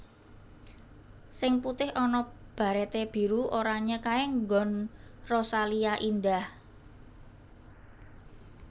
Sing putih ana barete biru oranye kae nggon Rosalia Indah